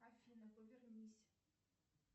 афина повернись